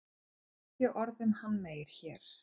En ekki orð um hann meir hér.